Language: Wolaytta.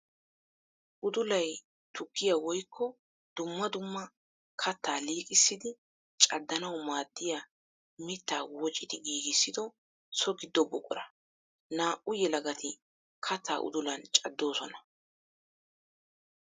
Uddullay tukkiya woykko dumma dumma katta liiqqissiddi caddanawu maadiya mitta woocciddi giigissido so gido buqura. Naa"u yelagatti katta uddullan caddosonna.